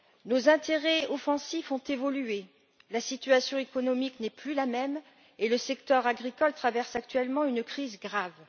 Nos intérêts offensifs ont évolué, la situation économique n'est plus la même et le secteur agricole traverse actuellement une crise grave.